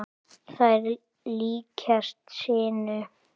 Þær líkjast sinu.